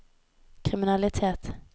kriminalitet